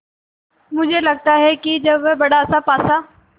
मुझे लगता है कि जब वह बड़ासा पासा